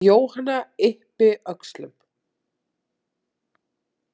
Jóhanna yppi öxlum.